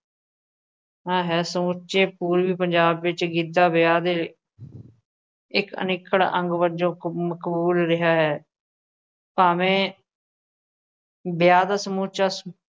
ਹੈ ਸਮੁੱਚੇ ਪੂਰਬੀ ਪੰਜਾਬ ਵਿੱਚ ਗਿੱਧਾ ਵਿਆਹ ਦੇ ਇੱਕ ਅਨਿੱਖੜ ਅੰਗ ਵਜੋਂ ਕਬੂ~ ਮਕਬੂਲ ਰਿਹਾ ਹੈ, ਭਾਵੇਂ ਵਿਆਹ ਦਾ ਸਮੁੱਚਾ,